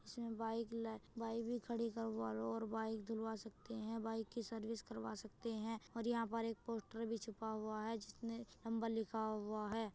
इसमें बाइक ल बाइक भी खड़ी करवालों और बाइक धुलवा सकते हैं बाइक की सर्विस करवा सकते हैं और यहाँं पर एक पोस्टर भी छपा हूआ है जिसने हंबल लिखा हूआ है।